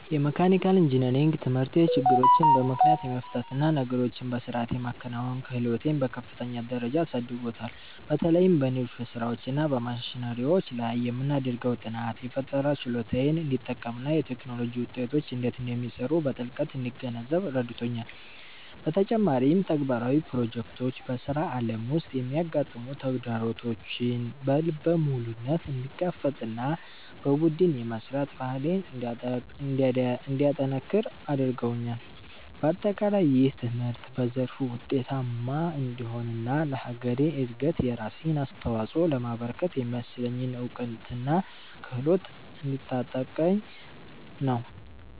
የመካኒካል ኢንጂነሪንግ ትምህርቴ ችግሮችን በምክንያት የመፍታት እና ነገሮችን በሥርዓት የማከናወን ክህሎቴን በከፍተኛ ደረጃ አሳድጎታል። በተለይም በንድፍ ሥራዎች እና በማሽነሪዎች ላይ የምናደርገው ጥናት፣ የፈጠራ ችሎታዬን እንድጠቀምና የቴክኖሎጂ ውጤቶች እንዴት እንደሚሰሩ በጥልቀት እንድገነዘብ ረድቶኛል። በተጨማሪም፣ ተግባራዊ ፕሮጀክቶች በሥራ ዓለም ውስጥ የሚያጋጥሙ ተግዳሮቶችን በልበ ሙሉነት እንድጋፈጥና በቡድን የመሥራት ባህሌን እንዳጠነክር አድርገውኛል። በአጠቃላይ፣ ይህ ትምህርት በዘርፉ ውጤታማ እንድሆንና ለሀገሬ እድገት የራሴን አስተዋፅኦ ለማበርከት የሚያስችለኝን እውቀትና ክህሎት እያስታጠቀኝ ነው።